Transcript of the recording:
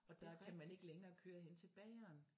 Er der kan man ikke længere køre hen til bageren